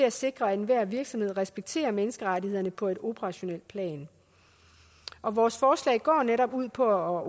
at sikre at enhver virksomhed respekterer menneskerettighederne på et operationelt plan og vores forslag går netop ud på at